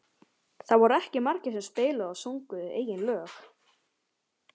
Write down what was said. Það voru ekki margir sem spiluðu og sungu eigin lög.